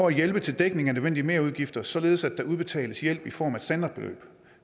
at hjælpe til dækning af nødvendige merudgifter således at der udbetales hjælp i form af et standardbeløb